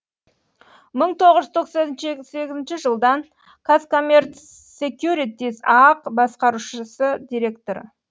мың тоғыз жүз тоқсан сегіз жылдан казкоммерцсекьюритиз аақ басқарушы директоры